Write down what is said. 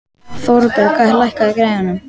Thorberg, lækkaðu í græjunum.